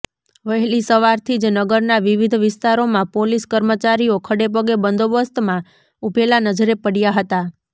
વહેલી સવારથી જ નગરના વિવિધ વિસ્તારોમાં પોલીસ કર્મચારીઓ ખડેપગે બંદોબસ્તમાં ઉભેલા નજરે પડયા હતા